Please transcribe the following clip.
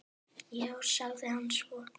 Já, sagði hann svo.